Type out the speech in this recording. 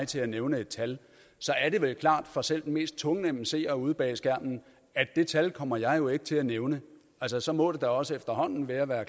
til at nævne et tal er det vel klart for selv den mest tungnemme seer ude bag skærmen at det tal kommer jeg jo ikke til at nævne altså så må det da også efterhånden være ved at